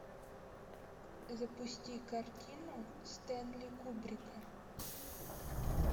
запусти картину стэнли кубрика